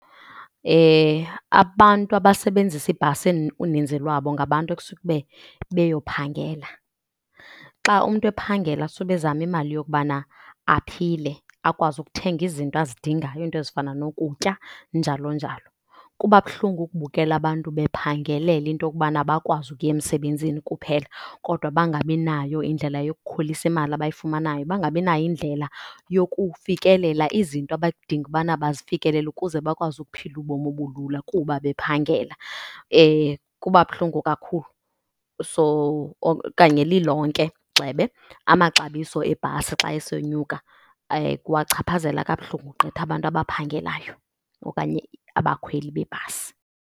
Abantu abasebenzisa ibhasi uninzi lwabo ngabantu ekusuka ube beyophangela. Xa umntu ephangela sube ezama imali yokubana aphile, akwazi ukuthenga izinto azidingayo, iinto ezifana nokutya njalo njalo. Kuba buhlungu ukubukela abantu bephangelela into kubana bakwazi ukuya emsebenzini kuphela kodwa bangabinayo indlela yokukhulisa imali abayifumanayo. Bangabinayo indlela yokufikelela izinto abadinga ubana bazifikelele ukuze bakwazi ukuphila ubomi obulula kuba bephangela, kuba buhlungu kakhulu. So okanye lilonke gxebe, amaxabiso ebhasi xa esonyuka kuwachaphazela kabuhlungu gqitha abantu abaphangelayo okanye abakhweli bebhasi.